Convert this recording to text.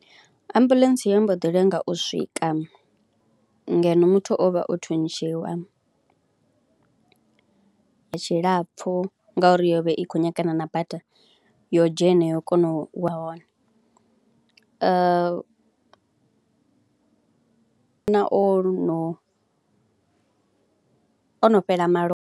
Ambuḽentse yo mbo ḓi lenga u swika ngeno muthu o vha o thuntshiwa, ya tshilapfhu ngauri yo vha i khou nyagana na bada yo dzhena yo kona u ya hone na o no o no fhela malofha.